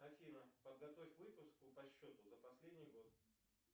афина подготовь выписку по счету за последний год